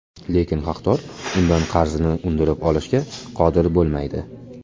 Lekin haqdor undan qarzini undirib olishga qodir bo‘lmaydi.